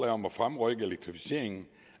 om at fremrykke elektrificeringen